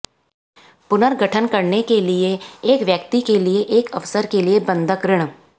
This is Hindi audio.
पुनर्गठन करने के लिए एक व्यक्ति के लिए एक अवसर के लिए बंधक ऋण